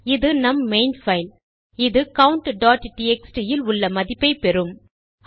இது நம் main file160 இது countடிஎக்ஸ்டி இல் உள்ள மதிப்பை பெறும்